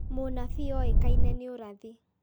Mũnabii oĩkaine nĩ ũrathi